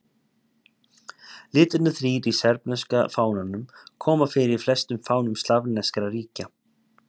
Litirnir þrír í serbneska fánanum koma fyrir í flestum fánum slavneskra ríkja.